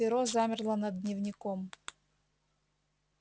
перо замерло над дневником